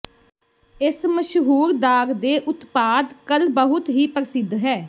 ਇਸ ਮਸ਼ਹੂਰ ਦਾਗ ਦੇ ਉਤਪਾਦ ਕਲ ਬਹੁਤ ਹੀ ਪ੍ਰਸਿੱਧ ਹੈ